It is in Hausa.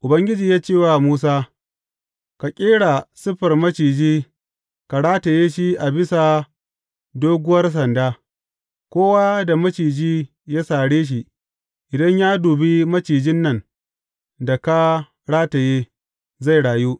Ubangiji ya ce wa Musa, Ka ƙera siffar maciji ka rataye shi a bisa doguwar sanda; kowa da maciji ya sare shi, idan ya dubi macijin nan da ka rataye, zai rayu.